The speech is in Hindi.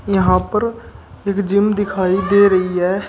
यहां पर एक जिम दिखाई दे रही है।